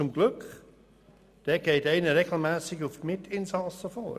Zum Glück, denn dort geht einer regelmässig auf die Mitinsassen los.